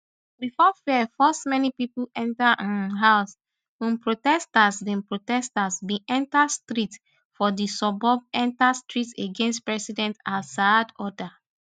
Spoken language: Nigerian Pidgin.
bifor fear force many pipo enta um house um protesters bin protesters bin enta street for di suburbs enta street against president alassad order